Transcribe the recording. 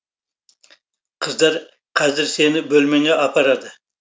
қыздар қазір сені бөлмеңе апарады